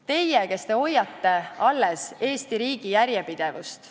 Teie, kes te hoiate Eesti riigi järjepidevust.